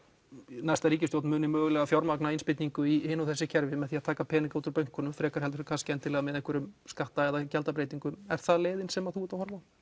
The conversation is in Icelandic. næsta ríkisstjórn muni mögulega fjármagna innspýtingu í hin og þessi kerfi með því að taka pening út úr bönkum frekar en með einhverjum skatta eða gjaldabreytingum er það leiðin sem þú ert að horfa á